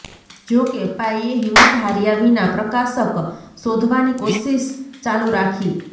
જો કે પાઈએ હિંમત હાર્યા વિના પ્રકાશક શોધવાની કોશિશ ચાલુ રાખી